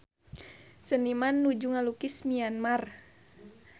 Seniman nuju ngalukis Myanmar